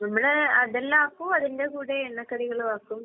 നമ്മടെ അതെല്ലാം ആക്കും അതിന്റെ കൂടെ എണ്ണക്കടികളും ആക്കും.